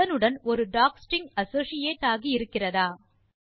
அதனுடன் ஒரு docstring associate ஆகி இருக்கிறதா